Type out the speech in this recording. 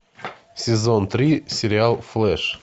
сезон три сериал флэш